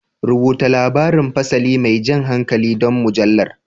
Rubuta labarin fasali mai jan hankali don mujallar.